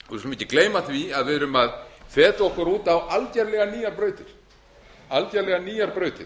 ekki gleyma því að við erum að feta okkur út á algerlega nýjar